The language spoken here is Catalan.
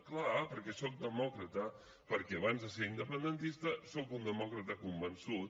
clar perquè soc demòcrata perquè abans de ser independentista soc un demòcrata convençut